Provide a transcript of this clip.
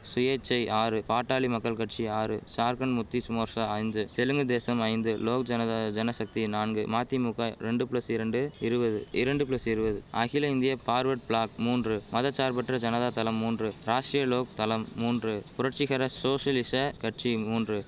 சுயேச்சை ஆறு பாட்டாளி மக்கள் கட்சி ஆறு சார்க்கண்ட் முக்திஸ் மோர்ஷா ஐந்து தெலுங்கு தேசம் ஐந்து லோக் ஜனதா ஜனசக்தி நான்கு மதிமுக ரெண்டு பிளஸ் இரண்டு இருவது இரண்டு பிளஸ் இருவது அகில இந்திய பார்வர்ட் பிளாக் மூன்று மத சார்பற்ற ஜனதா தளம் மூன்று ராஷ்டிரிய லோக் தளம் மூன்று புரட்சிகர சோஷலிச கட்சி மூன்று